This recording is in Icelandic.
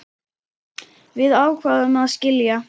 Við ákváðum að skilja.